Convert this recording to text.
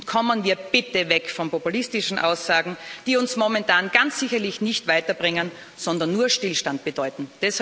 Kommen wir bitte weg von populistischen Aussagen, die uns momentan ganz sicherlich nicht weiterbringen, sondern nur Stillstand bedeuten!